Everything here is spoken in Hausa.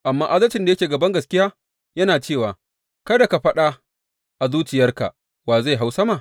Amma adalcin da yake ga bangaskiya yana cewa, Kada ka faɗa a zuciyarka, Wa zai hau sama?’